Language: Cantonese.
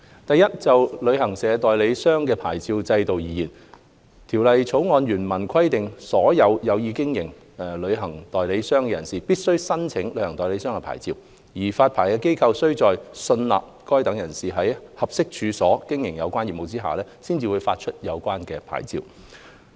第一，就旅行代理商的牌照制度而言，《旅遊業條例草案》原文規定所有有意經營旅行代理商的人士必須申請旅行代理商牌照，而發牌機構須在信納該等人士在合適處所經營有關業務下，方會發出有關牌照。